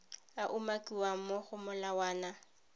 a umakiwang mo go molawana